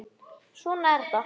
Svona er þetta.